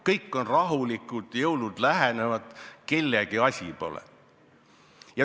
Kõik on rahulikud, jõulud lähenevad, kellegi asi pole.